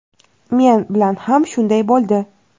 Men bilan ham shunday bo‘ldi.